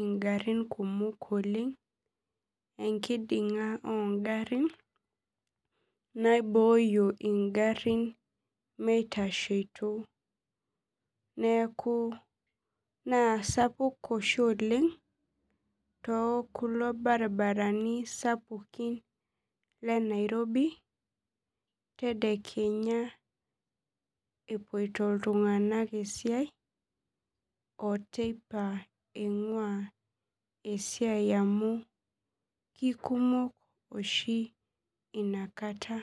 ingarin kumok oleng enkidinga o garin naibooyo ngarin mitashoto na sapuk oshi oleng tekulo baribarani le nairobi tedekenya epuoito ltunganak eisai oteipa ingua esiai amu kekumok oshi inakata.